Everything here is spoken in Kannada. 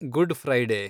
good Friday